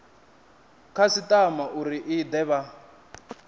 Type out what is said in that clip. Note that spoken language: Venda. khasitama uri i de vha